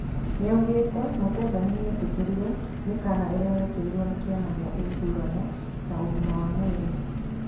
Noaugĩte Museveni nĩetĩkĩrĩte mĩkana ĩrĩa yekĩrirwo nĩ kĩama gĩa ithurano na ũgima wa mwĩrĩ